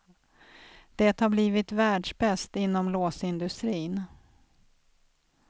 Det har blivit världsbäst inom låsindustrin.